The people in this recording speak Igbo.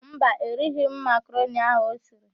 Mba, erighi m makaroni ahụ o siri.